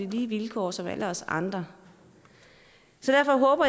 vilkår som alle os andre så